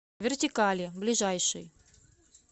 вертикали ближайший